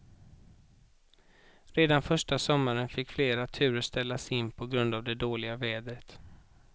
Redan första sommaren fick flera turer ställas in på grund av det dåliga vädret.